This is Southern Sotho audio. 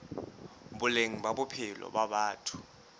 boleng ba bophelo ba batho